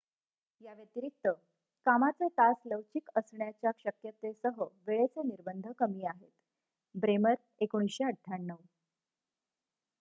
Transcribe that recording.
याव्यतिरिक्त कामाचे तास लवचिक असण्याच्या शक्यतेसह वेळेचे निर्बंध कमी आहेत. ब्रेमर १९९८